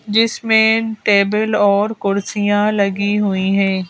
जिसमें टेबल और कुर्सियां लगी हुई हैं।